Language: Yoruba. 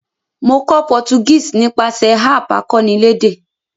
Mo kó Portuguese nípasẹ̀ app akọ́nilédè